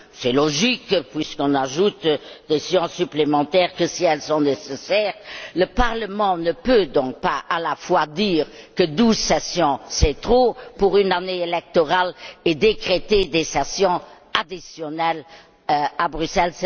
C'est logique, puisqu'on n'ajoute des séances supplémentaires que si elles sont nécessaires, le Parlement ne peut donc pas à la fois dire que douze sessions, c'est trop pour une année électorale, et décréter des sessions additionnelles à Bruxelles.